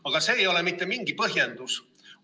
Aga see ei ole mitte mingi põhjendus.